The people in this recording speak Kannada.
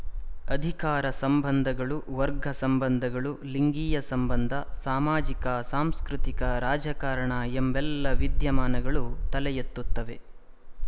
ಅಧಿಕಾರ ಸಂಬಂಧಗಳು ವರ್ಗ ಸಂಬಂಧಗಳು ಲಿಂಗೀಯ ಸಂಬಂಧ ಸಾಮಾಜಿಕಸಾಂಸ್ಕೃತಿಕ ರಾಜಕಾರಣ ಎಂಬೆಲ್ಲ ವಿದ್ಯಮಾನಗಳು ತಲೆಯೆತ್ತುತ್ತವೆ